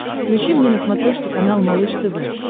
включи мне на смотрешке канал малыш тв